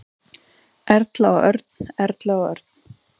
Erla og Örn. Erla og Örn.